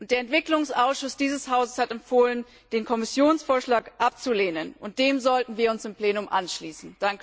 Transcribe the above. Der Entwicklungsausschuss dieses Hauses hat empfohlen, den Kommissionsvorschlag abzulehnen. Dem sollten wir uns im Plenum anschließen.